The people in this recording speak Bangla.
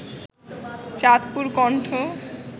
চাঁদপুর কণ্ঠ